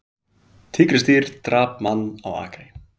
Tígrisdýr drap mann á akri